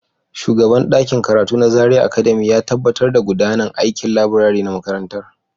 Shugaban ɗakin karatu na Zaria Academy ya tabbatar da gudanar da aikin laburare na makarantar.